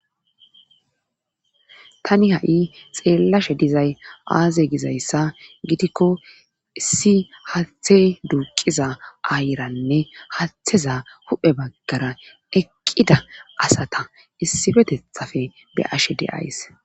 tani ha7i xeellashe dizay aaze gizayssa gidikko issi haathey duuqiza aayranne haatheza huphe baggara eqqida asata issifetethafe be ashe de7ays